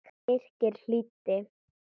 Birkir hlýddi.